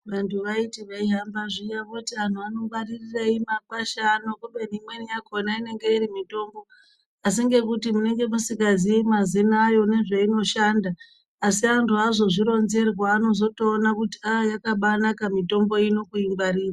Vantu vaiti vei hamba zviya voti anhu vano ngwaririrei makwasha ano kubeni imweni akona inenge iri mutombo asi ngekuti munenge musinga zii mazina ayo nezve inoshanda asi antu azozvi ronzerwa vano zoto ona kuti aa yakabai naka mitombo ino kui ngwarira.